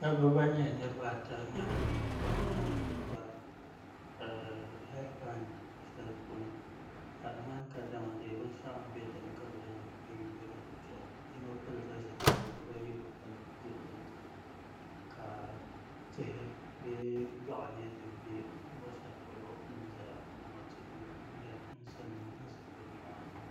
Dabba ban nyɛ niraba ata nyɛla ban nina ku kpa heed pai shɛli puuni ka di ŋmani kadama binshaɣu n bɛ dinni ka bi yuundi dizuɣu yino pilila zipiligu bibayi bi pili ka tihi bee yoɣu nyɛ din bɛ luɣu shɛli polo bi ni ʒɛya ŋo dama tihi n ku zibigi nimaani